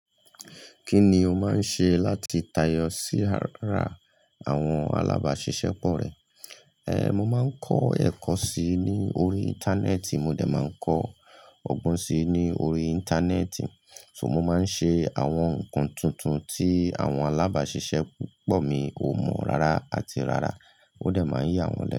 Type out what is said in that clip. Kí ni o máa ń ṣe láti tayọ sí ara àwọn alábàáṣiṣẹ́ pọ̀ rẹ? Ehn, mo máa ń kọ́ ẹ̀kọ́ sí i ní orí Íńtánẹ́ẹ̀tì, mo dẹ̀ máa ń kọ́ ọgbọ́n sí i ní orí Íńtánẹ́ẹ̀tì. So mo máa ń ṣe àwọn nnkan tuntun tí àwọn alábáṣiṣẹ́ pọ̀ mi ò mọ̀ rárá àti rárá. Ó dẹ̀ máa ń yá wọn lẹ́nu.